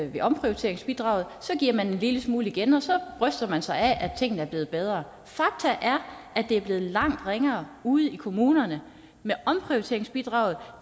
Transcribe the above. via omprioriteringsbidraget og så giver man en lille smule igen og så bryster man sig af at tingene er blevet bedre faktum er at det er blevet langt ringere ude i kommunerne med omprioriteringsbidraget